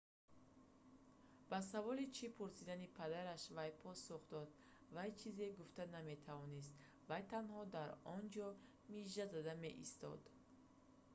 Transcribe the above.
ба саволи чӣ пурсидани падараш вай посух дод вай чизе гуфта наметавонист вай танҳо дар онҷо мижа зада меистод